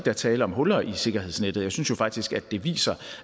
er tale om huller i sikkerhedsnettet jeg synes jo faktisk at det viser